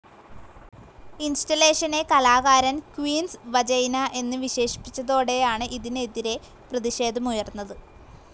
ഇൻസ്റ്റലേഷനെ കലാകാരൻ queen's vagina എന്ന് വിശേഷിപ്പിച്ചതോടെയാണ് ഇതിനെതിരെ പ്രതിഷേധമുയർന്നത്.